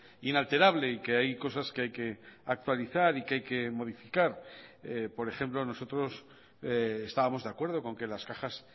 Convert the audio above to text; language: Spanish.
inalterable y que hay cosas que hay que actualizar y que hay que modificar por ejemplo nosotros estábamos de acuerdo con que las cajas